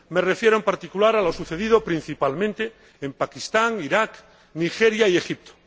Me refiero, en particular, a lo sucedido principalmente en Pakistán, Iraq, Nigeria y Egipto.